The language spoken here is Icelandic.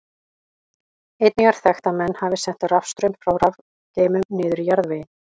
Einnig er þekkt að menn hafi sent rafstraum frá rafgeymum niður í jarðveginn.